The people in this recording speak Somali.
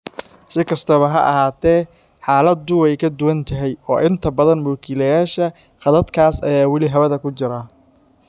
Si kastaba ha ahaatee, xaaladdu way ka duwan tahay, oo inta badan mulkiilayaasha khadadkaas ayaa weli hawada ku jira.